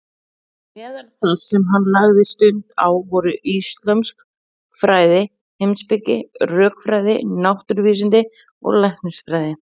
Meðal þess sem hann lagði stund á voru íslömsk fræði, heimspeki, rökfræði, náttúruvísindi og læknisfræði.